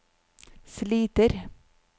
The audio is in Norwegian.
sliter